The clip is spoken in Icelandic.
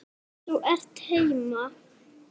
Þú ert heima!